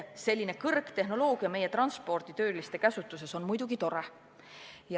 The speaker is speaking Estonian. Selline kõrgtehnoloogia meie transporditöötajate käsutuses on muidugi tore.